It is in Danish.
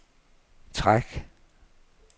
træk